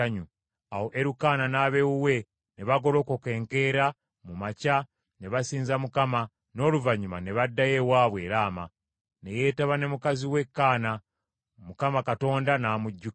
Awo Erukaana n’ab’ewuwe ne bagolokoka enkeera mu makya ne basinza Mukama , n’oluvannyuma ne baddayo ewaabwe e Laama. Ne yeetaba ne mukazi we Kaana, Mukama Katonda n’amujjukira.